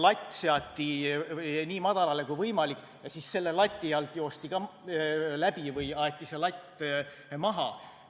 Latt seati nii madalale kui võimalik ja siis joosti selle lati alt läbi või aeti see latt maha.